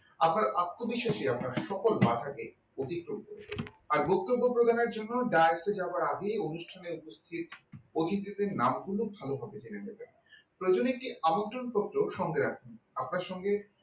আপনার আত্মবিশ্বাসী আপনার সকল বাঁধাকে অতিক্রম করে দেবে আর বক্তব্য প্রদানের জন্য direkte এ যাবার আগেই অনুষ্ঠানের script অতিথিদের নাম গুলো ভালোভাবে জেনে নেবেন প্রয়োজন একটি আমন্ত্রণপত্র সঙ্গে রাখবেন আপনার সঙ্গে